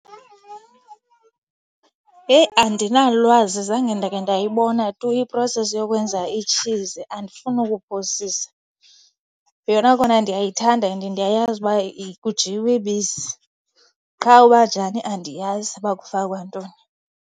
Heyi andinalwazi, zange ndake ndayibona tu i-process yokwenza itshizi andifuni kuphosisa. Yona kona ndiyayithanda and ndiyayazi uba kujiywa ibisi, qha uba njani andiyazi, uba kufakwa ntoni.